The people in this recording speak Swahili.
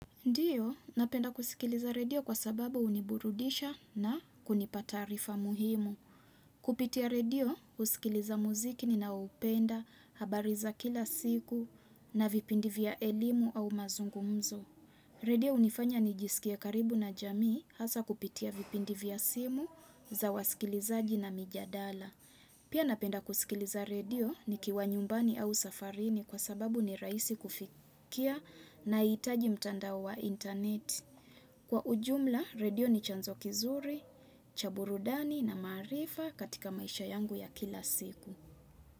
Ndiyo, napenda kusikiliza redio kwa sababu huniburudisha na kunipa taarifa muhimu. Kupitia redio, husikiliza muziki ninaupenda, habari za kila siku na vipindi vya elimu au mazungumzo. Redio hunifanya nijisikie karibu na jamii hasa kupitia vipindi vya simu za wasikilizaji na mijadala. Pia napenda kusikiliza redio nikiwa nyumbani au safarini kwa sababu ni rahisi kufikia nahitaji mtandao wa internet. Kwa ujumla, redio ni chanzo kizuri, cha burudani na maarifa katika maisha yangu ya kila siku.